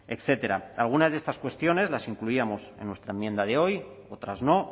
etcétera algunas de estas cuestiones las incluíamos en nuestra enmienda de hoy otras no